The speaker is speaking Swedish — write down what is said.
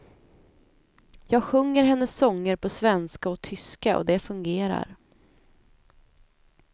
Jag sjunger hennes sånger på svenska och tyska och det fungerar.